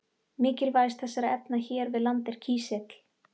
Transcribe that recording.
Mikilvægast þessara efna hér við land er kísill.